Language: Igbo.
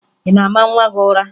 Ị na-ama nwa gị ụra?